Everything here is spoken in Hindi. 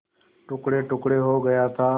टुकड़ेटुकड़े हो गया था